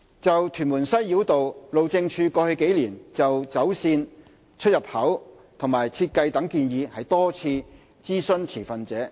就屯門西繞道，路政署過去幾年就走線、出入口及設計等建議多次諮詢持份者。